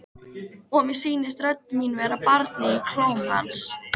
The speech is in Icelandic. Og mér sýnist rödd mín vera barnið í klóm hans.